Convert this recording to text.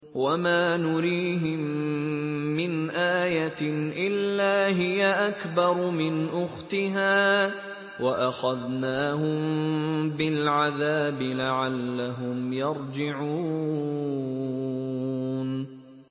وَمَا نُرِيهِم مِّنْ آيَةٍ إِلَّا هِيَ أَكْبَرُ مِنْ أُخْتِهَا ۖ وَأَخَذْنَاهُم بِالْعَذَابِ لَعَلَّهُمْ يَرْجِعُونَ